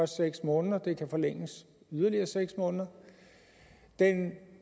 seks måneder det kan forlænges i yderligere seks måneder den